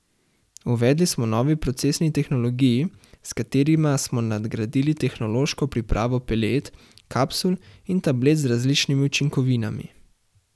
Uvedli smo novi procesni tehnologiji, s katerima smo nadgradili tehnološko pripravo pelet, kapsul in tablet z različnimi učinkovinami.